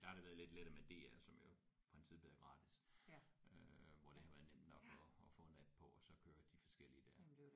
Der har det været lidt lettere med DR som jo i princippet er gratis øh hvor det har været nemt nok at at få en app på og så kører de forskellige der